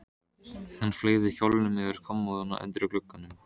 Hann fleygði kjólnum yfir á kommóðuna undir glugganum.